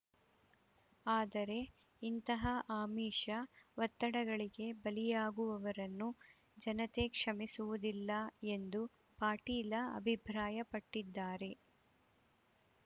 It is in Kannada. ಆದರೆ ಇಂತಹ ಆಮಿಷ ಒತ್ತಡಗಳಿಗೆ ಬಲಿಯಾಗುವವರನ್ನು ಜನತೆ ಕ್ಷಮಿಸುವುದಿಲ್ಲ ಎಂದು ಪಾಟೀಲ ಅಭಿಪ್ರಾಯಪಟ್ಟಿದಾರೆ